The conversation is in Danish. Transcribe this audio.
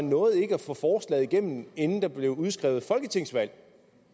nåede at få forslaget igennem inden der blev udskrevet folketingsvalg